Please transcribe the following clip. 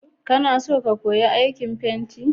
Kana son ka koyi aikin fenti?